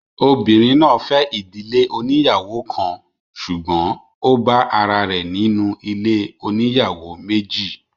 Obìnrin fẹ ìdílé oníyàwó kan, ṣùgbọ́n ó bá ará rẹ̀ nínú ilé oníyàwó méjì